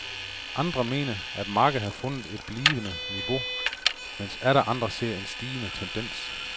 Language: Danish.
Andre mener, at markedet har fundet et blivende niveau, mens atter andre ser en stigende tendens.